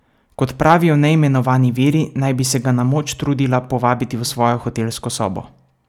Kot pravijo neimenovani viri, naj bi se ga na moč trudila povabiti v svojo hotelsko sobo.